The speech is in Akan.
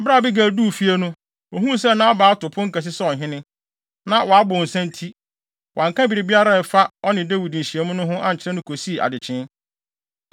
Bere a Abigail duu fie no, ohuu sɛ Nabal ato pon kɛse sɛ ɔhene. Na wabow nsa nti, wanka biribiara a ɛfa ɔne Dawid nhyiamu no ho ankyerɛ no kosii adekyee.